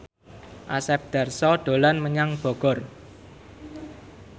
Asep Darso dolan menyang Bogor